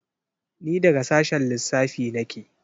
Ni daga sashen lissafi nake.